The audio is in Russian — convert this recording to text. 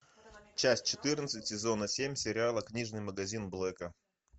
часть четырнадцать сезона семь сериала книжный магазин блэка